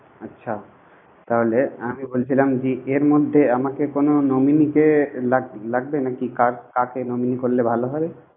আচ্ছা তাহলে আমি বলছিলাম যে, এর মধ্যে আমাকে কোন nominee কে লাগবে নাকি। কাক~ কাকে nominee করলে ভালো।